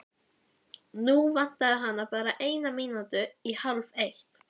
Nú vantaði hana bara eina mínútu í hálfeitt.